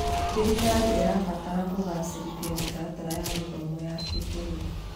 Thirikari ĩrabatara kũgacĩrithia mĩtaratara ya gĩthomo ya kĩbũrũri.